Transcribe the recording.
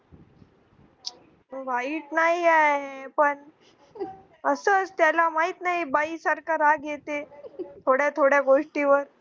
वाईट नाहिये पण असच त्याला माहीत नाही बाई सारखा राग येते थोड्या थोड्या गोष्टीवर